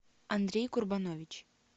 андрей курбанович